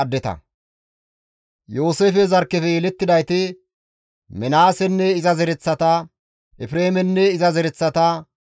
Yooseefe zarkkefe yelettidayti, Minaasenne iza zereththata, Efreemenne iza zereththata,